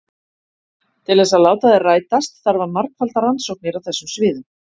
Til þess að láta þær rætast þarf að margfalda rannsóknir á þessum sviðum.